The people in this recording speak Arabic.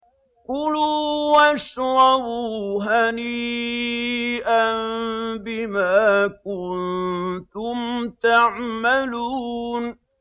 كُلُوا وَاشْرَبُوا هَنِيئًا بِمَا كُنتُمْ تَعْمَلُونَ